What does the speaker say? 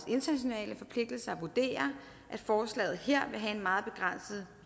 internationale forpligtelser vurderer at forslaget her vil have en meget begrænset